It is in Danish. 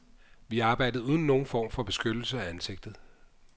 Vi arbejdede uden nogen form for beskyttelse af ansigtet.